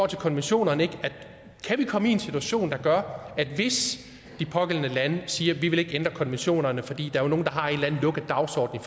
til konventionerne komme i en situation der gør at vi hvis de pågældende lande siger at de ikke vil ændre konventionerne fordi der er nogle der har en eller anden lukket dagsorden